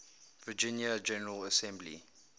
virginia general assembly